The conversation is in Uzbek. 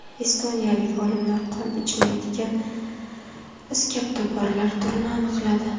Estoniyalik olimlar qon ichmaydigan iskabtoparlar turini aniqladi.